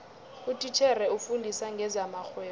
utitjhere ofundisa ngezamarhwebo